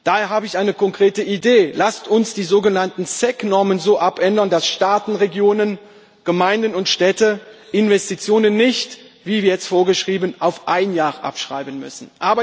Daher habe ich eine konkrete Idee Lasst uns die sogenannten SEC Normen so abändern, dass Staaten, Regionen, Gemeinden und Städte Investitionen nicht, wie jetzt vorgeschrieben, auf ein Jahr abschreiben müssen.